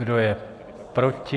Kdo je proti?